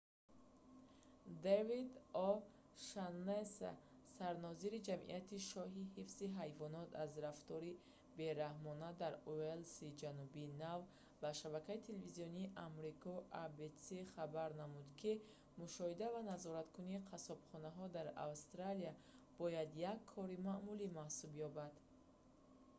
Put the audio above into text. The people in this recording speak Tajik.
дэвид о'шаннесси david o'shannessy сарнозири ҷамъияти шоҳии ҳифзи ҳайвонот аз рафтори бераҳмона rspca дар уелси ҷанубии нав ба шабакаи телевизионии амрико abc иброз намуд ки мушоҳида ва назораткунии қассобхонаҳо дар австралия бояд як кори маъмулӣ маҳсуб ёбад